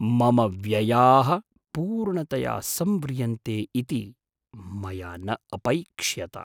मम व्ययाः पूर्णतया संव्रियन्ते इति मया न अपैक्ष्यत। अहं